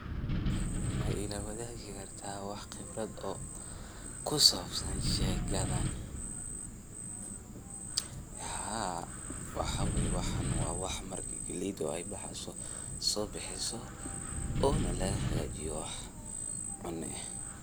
Haa waxa waye waxan wa wax marki galeyda ay bexeyso sobixiso ona lagahagajiyo wax cuno eh.